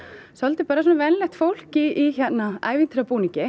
svolítið svona venjulegt fólk í hérna